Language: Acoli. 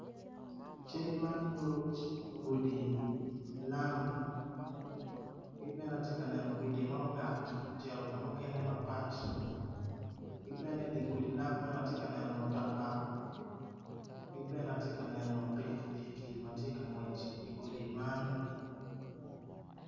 Cal ma nyuto gudi lam ki bene atye ka neno gudi mungat ki bene atye kaneno pikipiki ma tye ka ngwec i gudi man